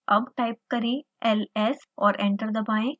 अबटाइप करें ls और enter दबाएं